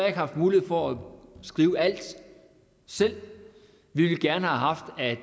ikke haft mulighed for at skrive alt selv vi ville gerne have haft at